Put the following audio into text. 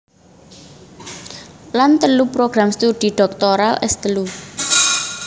Lan telu program studi dhoktoral S telu